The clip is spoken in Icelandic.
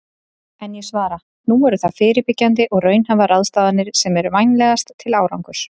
En ég svara: Nú eru það fyrirbyggjandi og raunhæfar ráðstafanir sem eru vænlegastar til árangurs.